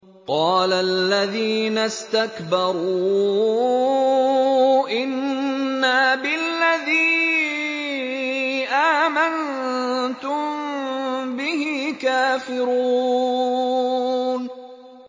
قَالَ الَّذِينَ اسْتَكْبَرُوا إِنَّا بِالَّذِي آمَنتُم بِهِ كَافِرُونَ